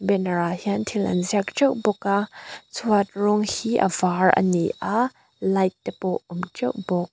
banner ah hian thil an ziak teuh bawk a chhuat rawng hi a var ani a light te pawh a awm teuh bawk.